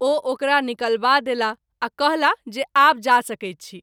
ओ ओकरा निकलबा देलाह आ कहला जे आब जा सकैत छी।